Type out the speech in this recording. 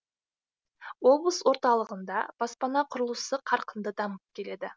облыс орталығында баспана құрылысы қарқынды дамып келеді